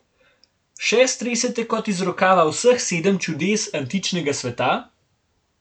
Še stresete kot iz rokava vseh sedem čudes antičnega sveta?